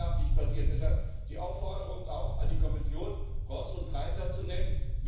Das darf nicht passieren. Deshalb die Aufforderung auch an die Kommission, Ross und Reiter zu nennen.